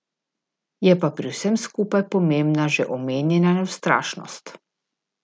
Je pa pri vsem skupaj pomembna že omenjena neustrašnost.